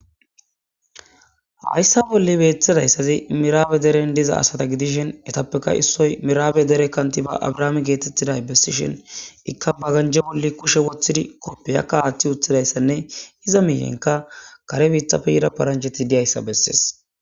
Hayssa bolle beeththadayssazi miraabe deren diza asata gidishin etappeka issoy miraabe dere kanti ba abrahaame geetettiday bessishen ikka baganje bolli kushe woththidi koppiyakka aaththi uthidayssanne hiza miiyenka kare biitapfe yira paranjheti diyayssa bessees.